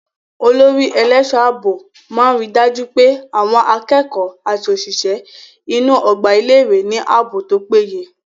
Olórí ẹlẹ́ṣọ̀ ààbò máa ríi dájú pé àwọn akẹ́kọ̀ọ́ àti òṣìṣẹ́ inú ọgbà ilé ìwé ní ààbò tó péye.